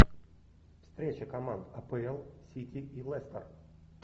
встреча команд апл сити и лестер